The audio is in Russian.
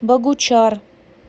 богучар